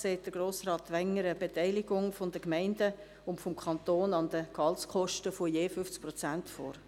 FILAG sieht Grossrat Wenger eine Beteiligung der Gemeinden und des Kantons an den Gehaltskosten von je 50 Prozent vor.